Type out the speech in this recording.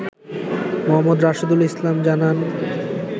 মো. রাশেদুল ইসলাম জানান